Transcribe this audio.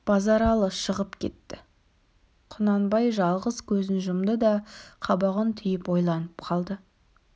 базаралы шығып кетті құнанбай жалғыз көзін жұмды да қабағын түйіп ойланып қалды